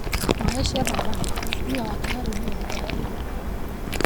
Maesaiah Thabane, mũtumia wake wa rĩu, nĩ athitangĩirwo kũũragana.